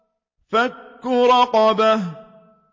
فَكُّ رَقَبَةٍ